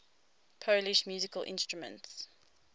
polish musical instruments